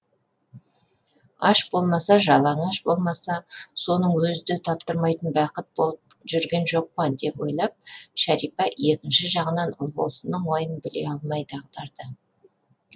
аш болмаса жалаңаш болмаса соның өзі де таптырмайтын бақыт болып жүрген жоқ па деп ойлап шәрипа екінші жағынан ұлбосынның ойын біле алмай дағдарды